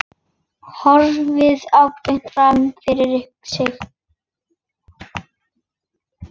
Horfir beint fram fyrir sig.